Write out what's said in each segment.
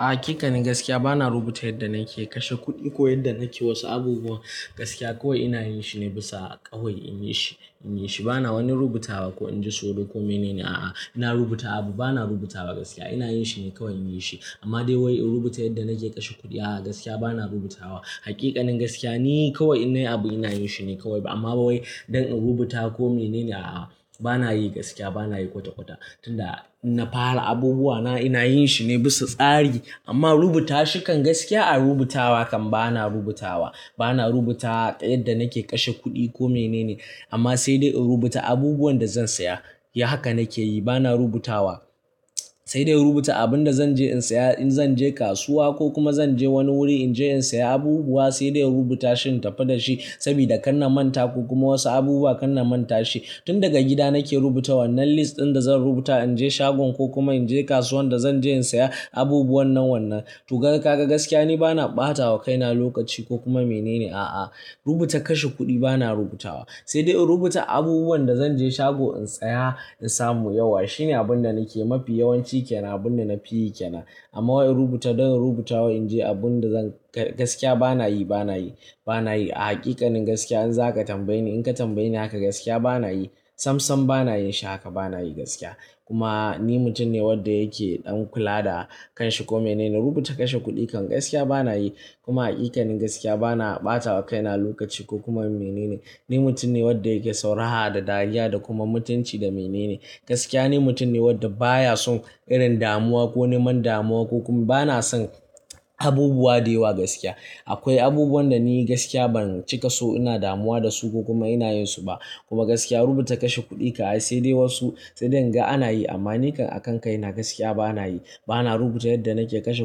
Haƙiƙanin gaskiya bana rubuta yadda nake kashe kuɗi ko yadda nake wasu abubuwan, Gaskiya kawai ina yin shi ne bisa ƙawai inyi shi, inyi shi. Bana wani rubutawa ko inji tsoro kome nene a'a, ina rubuta abu bana rubutawa gaskiya ina yin shi ne kawai inyi shi. Amma dai wai in rubuta yadda nake kashe kuɗi a'a gaskiya bana rubutawa. Haƙiƙanin gaskiya ni kawai in nayi abu ina yin shi ne kawai, amma ba wai, don in rubuta kome nene a'a, bana yi gaskiya bana yi kwata-kwata. Tun da na fara abubuwana, ina yin shi ne bisa tsari, amma rubuta shikan gaskiya a rubuta wa kan bana rubutawa. Bana rubuta yadda nake kashe kuɗi ko mene ne, amma sai dai in rubuta abubuwan da zan saya. Eh haka nake yi bana rubutawa, sai dai in rubuta abun da zan je in saya in zan je kasuwa, ko kuma zan je wani wuri in je in saya abubuwa, sai dai in rubuta shi in tafi da shi sabida kan na manta ko kuma wasu abubuwa kan na manta shi. Tun daga gida nake rubuta wannan list ɗin da zan rubuta inje shagon ko kuma inje kasuwan da zan je in saya abubuwa nan wannan. To gaga kaga gaskiya ni bana ɓatawa kaina lokaci ko kuma mene ne a'a. Rubuta kashe kuɗi, bana rubutawa, sai dai in rubuta abubuwan da zan je shago in saya, in samu yauwa. Shine abun da nake mafi yawanci kenan abun da nafi yi kaina. Amma wai in rubuta, don in rubutawa inje abun da zan ga gaskiya bana yi, bana yi, bana yi. A haƙiƙanin gaskiya in zaka tambaye ni in ka tambaye ni haka gaskiya bana yi. Sam sam bana yin shi haka bana yi gaskiya. Kuma ni mutum ne wanda yake ɗan kula da kanshi ko mene. Rubuta kashe kuɗi kan gaskiya bana yi. Kuma haƙiƙanin gaskiya bana ɓatawa kaina lokaci ko kuma mene ne. Ni mutum ne wanda yake son raha da dariya da kuma mutunci da mene ne. Gaskiya ni mutum ne wanda baya son irin damuwa ko neman damuwa, ko kuma bana son abubuwa dayawa gaskiya. Akwai abubuwan da ni gaskiya ban cika so ina damuwa da su ko kuma ina yin su ba. Kuma gaskiya rubuta kashe kuɗi ka'ai sai dai wasu sai dai inga ana yi, amma ni kan a kan kaina gaskiya bana yi. Bana rubuta yadda nake kashe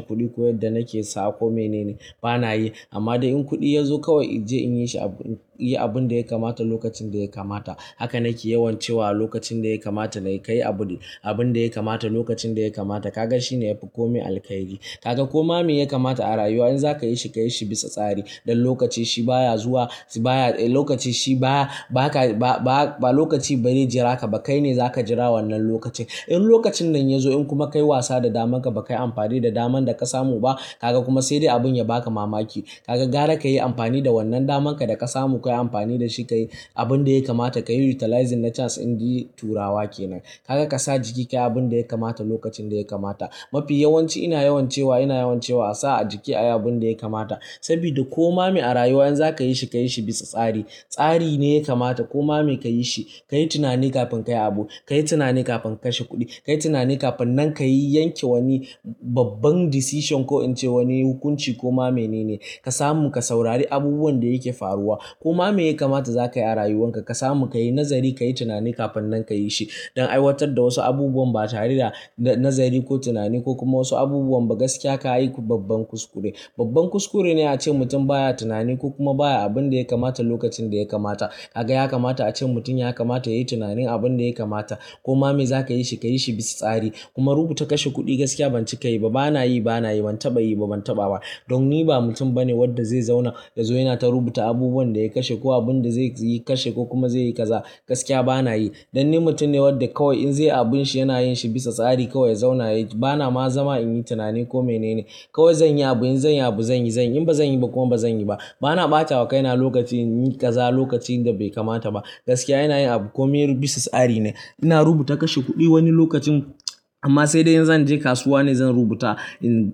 kuɗi ko yadda nake sa ko mene ne, bana yi. Amma dai in kuɗi ya zo kawai inje iny shi abu, yi abun da ya kamata lokacin da ya kamata. Haka nake yawan cewa lokacin da ya kamata da ya, kayi abu, abun da ya kamata lokacin da ya kamata. Kaga shine yafi komai alkhairi. Kaga koma me ya kamata a rayuwa in zaka yi shi ka yi shi bisa tsari. Don lokaci shi baya zuwa, baya, lokaci shi baya ba ka ba ba lokaci ba rai ji raka ba. Kai ne zaka jira wannan lokaci. In lokacin nan ya zo, in kuma ka yi wasa da daman ka ba kai amfani da daman da ka samu ba, kaga kuma sai dai abun ya baka mamaki, Kaga gara ka yi amfani da wannan daman ka da ka samu. Ka yi amfani da shi ka yi abun da ya kamata. Ka yi utilizing na chance in ji Turawa ke nan. Kaga ka sa jiki kayi abun da ya kamata lokacin da ya kamata. Mafi yawanci ina yawan cewa ina yawan cewa a sa a jiki ayi abun da ya kamata, Sabida koma me a rayuwa in za ka yi shi ka yi shi bisa tsari. Tsari ne ya kamata koma me ka yi shi. Ka yi tunani kafin ka yi abu, Ka yi tunani kafin ka kashe kuɗi. Ka yi tunani kafin nan ka yi yanke wani babban decision ko in ce wani hukunci ko ma mene ne. Ka samu ka saurari abubuwan da yake faruwa. Koma me ya kamata za ka yi a rayuwan ka. Ka samu ka yi nazari ka yi tunani kafin nan ka yi shi. Don aiwatar da wasu abubuwan ba tare da na-nazari ko tunani ko kuma wasu abubuwan ba gaskiya ka aiku babban kuskure. Babban kuskure ne a ce mutum baya tunani ko kuma baya abun da ya kamata lokacin da ya kamata, ka ga ya kamata a ce mutum ya kamata ya yi tunanin abun da ya kamata. Koma me za ka yi shi ka yi shi bisa tsari. Kuma rubuta kashe kuɗi gaskiya ban cika yi ba. Bana yi, bana yi. Ban taɓa yi ba, ban taɓa ba. Don ni ba mutum bane wanda zai zauna, ya zo yana ta rubuta abubuwan da ya kashe ko abun da zai yi kashe ko kuma zai yi kaza. Gaskiya bana yi. Don ni mutum ne wadda kawai in zaiyi abun shi yana yin shi bisa tsari kawai ya zauna ya yi. Bana ma zama in yi tunani ko mene ne. Kawai zan yi abu in zan yi abu zan yi, zan yi. In ba zan yi ba kuma ba zan yi ba. Bana ɓatawa kaina lokaci in yi kaza lokacin da bai kamata ba. Gaskiya ina yin abu kome, bisa tsari ne. Ina rubuta kashe kuɗi wani lokacin, amma sai dai in zan je kasuwa ne zan rubuta, in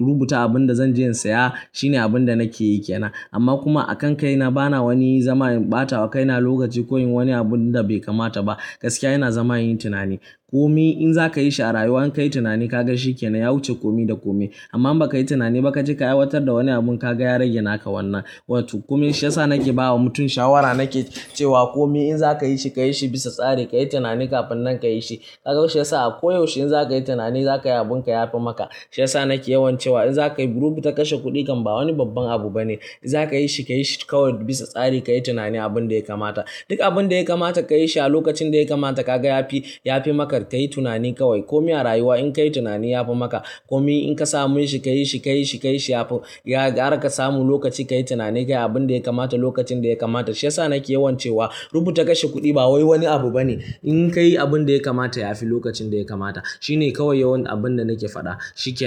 rubuta abun da zan je in saya. Shine abun da nake yi kenan. Amma kuma a kan kaina bana wani zama in ɓatawa kaina lokaci ko in yin wani abun da bai kamata ba. Gaskiya ina zama in yi tunani. Komi in za ka yi shi a rayuwa in ka yi tunani kaga shi ke nan ya wuce komi da komi. Amma in ba ka yi tunani ba kaje ka aiwatar da wani abun ka ga ya rage naka wannan. Wato, komai shiya sa nake bawa mutum shawara nake cewa komai in za ka yi shi ka yi shi bisa tsari, ka yi tunani kafin nan ka yi shi. Ka ga shi ya sa a ko yaushe in za ka yi tunani za ka yi abun ka yafi maka. Sai sa nake yawan cewa in za ka yi rubuta kashe kuɗi kan ba wani babban abu bane. In za ka yi shi ka yi shi kawai bisa tsari. Ka yi tunani abun da ya kamata. Duk abun da ya kamata ka yi shi a lokacin da ya kamata kaga yafi, yafi maka ka yi tunani kawai. Komi a rayuwa in ka yi tunani yafi maka. Komi in ka same shi ka yi shi, ka yi shi, ka yi shi yafi. Ya gara ka samu lokaci ka yi tunani ka yi abun da ya kamata lokacin da ya kamata, sai sa nake yawan cewa rubuta kashe kuɗi ba wai wani abu bane. In ka yi abun da ya kamata yafi lokacin da ya kamata. Shine kawai yawan, abun da nake faɗa. Shi kenan.